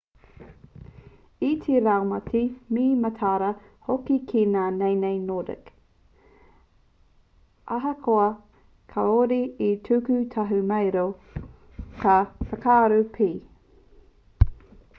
i te raumati me mataara hoki ki ngā naenae nordic ahakoa kāore e tuku tahumaero ka whakararu pea